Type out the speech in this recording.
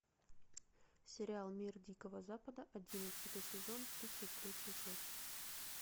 сериал мир дикого запада одиннадцатый сезон тридцать третья часть